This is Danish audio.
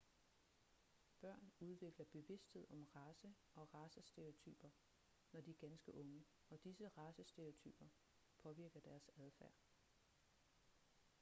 børn udvikler bevidsthed om race og racestereotyper når de er ganske unge og disse racestereotyper påvirker deres adfærd